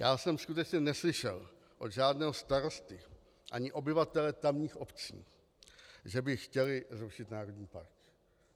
Já jsem skutečně neslyšel od žádného starosty ani obyvatele tamních obcí, že by chtěli řešit národní park.